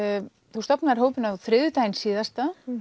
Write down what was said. þú stofnaðir hópinn á þriðjudaginn síðasta